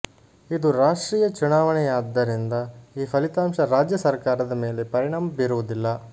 ಇದು ರಾಷ್ಟ್ರೀಯ ಚುನಾವಣೆಯಾದ್ದರಿಂದ ಈ ಫಲಿತಾಂಶ ರಾಜ್ಯ ಸರಕಾರದ ಮೇಲೆ ಪರಿಣಾಮ ಬೀರುವುದಿಲ್ಲ